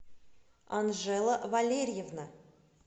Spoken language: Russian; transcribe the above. анжела валерьевна